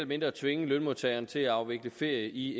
mindre tvinge lønmodtageren til at afvikle ferie i